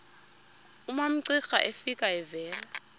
umamcira efika evela